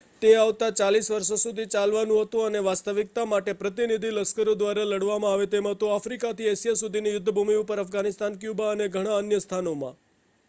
તે આવતા 40 વર્ષો સુધી ચાલવાનુ હતુ અને વાસ્તવિકતા માટે પ્રતિનિધિ લશ્કરો દ્વારા લડવામાં આવે તેમ હતુ આફ્રિકાથી એશિયા સુધીની યુદ્ધ ભૂમિ ઉપર અફઘાનિસ્તાન ક્યુબા અને ઘણા અન્ય સ્થાનોમાં